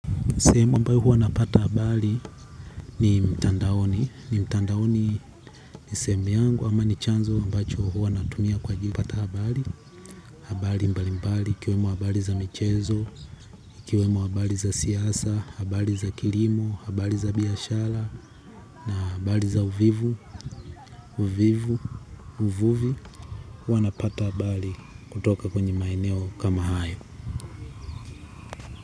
Seemu ambao huwa napata habali ni mtandaoni, ni mtandaoni ni semu yangu ama ni chanzo ambacho huwa natumia kwa jili yakupata habali, habali mbali mbali, ikiwemo habali za michezo, ikiwemo habali za siasa, habali za kirimo, habali za biashara na habali za uvivu, uvivu, uvuvi, huwa napata habali kutoka kwenye maeneo kama hayo.